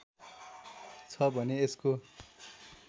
छ भने यसको